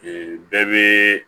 bɛɛ bɛ